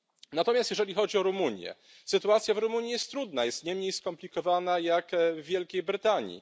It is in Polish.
Natomiast jeżeli chodzi o Rumunię sytuacja w Rumunii jest trudna, jest nie mniej skomplikowana niż w Wielkiej Brytanii.